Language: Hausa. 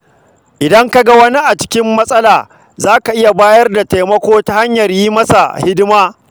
Idan ka ga wani a cikin matsala, zaka iya bayar da taimako ta hanyar yi masa hidima.